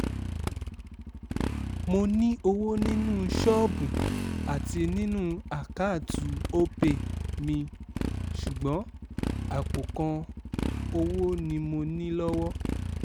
mo ní owó nínú ṣọ́ọ̀bù àti nínú àkáàtú o pay mi ṣùgbọ́n àpò kan owó ni mo ní lọ́wọ́